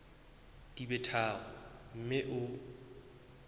di be tharo mme o